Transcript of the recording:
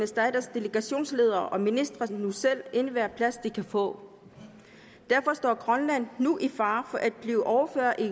staters delegationsledere og ministre nu selv enhver plads de kan få derfor står grønland nu i fare for at blive overhørt i